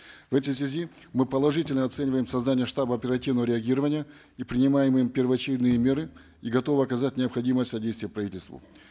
в этой связи мы положительно оцениваем создание штаба оперативного реагирования и принимаемые ими первоочередные меры и готовы оказать необходимое содействие правительству